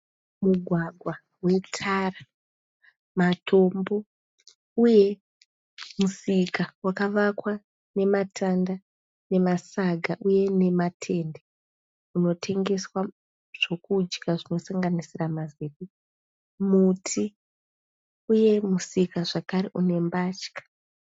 Mugwagwa wetara, matombo uye musika wakavakwa nematanda nemasaga uye nematende. Unotengeswa zvokudya zvinosanganisira ma zepe. Muti uye musika zvakare une mbatya.